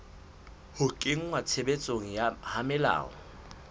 ho kenngwa tshebetsong ha melao